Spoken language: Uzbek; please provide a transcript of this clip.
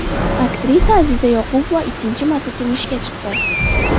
Aktrisa Aziza Yoqubova ikkinchi marta turmushga chiqdi .